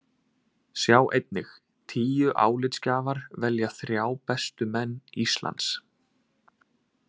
Sjá einnig: Tíu álitsgjafar velja þrjá bestu menn Íslands